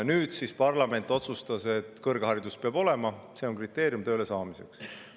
Nüüd siis parlament otsustas, et kõrgharidus peab olema, see on tööle saamise kriteerium.